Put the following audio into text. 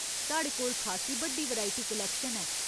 साढ़े कोल खासी बड्डी वैरायटी कलैक्शन ऐ।